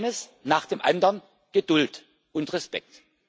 Eines nach dem anderen, Geduld und Respekt.